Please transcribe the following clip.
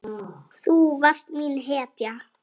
Þú varst mín hetja.